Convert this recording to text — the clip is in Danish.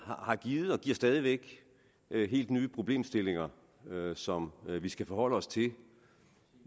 har givet og giver stadig væk helt nye problemstillinger som vi skal forholde os til